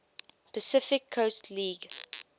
pacific coast league